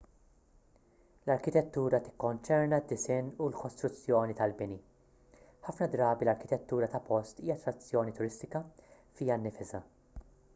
l-arkitettura tikkonċerna d-disinn u l-kostruzzjoni tal-bini ħafna drabi l-arkitettura ta' post hija attrazzjoni turistika fiha nfisha